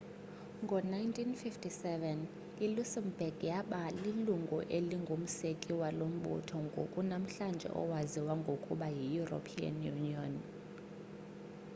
ngo-1957 iluxembourg yaba lilungu elingumseki walo mbutho ngoku namhlanje owaziwa ngokuba yieuropean union